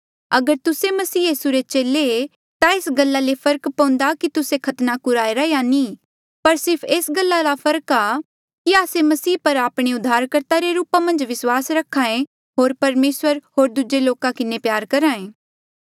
अगर तुस्से मसीह यीसू रे चेले ता ये एस गल्ला ले फर्क पउन्दा कि तुस्से खतना कुराईरा या नी पर सिर्फ एस गल्ला रा फर्क आ कि आस्से मसीह पर आपणे उद्धारकर्ता रे रूपा मन्झ विस्वास रखे होर परमेसर होर दूजे लोका किन्हें प्यार करहे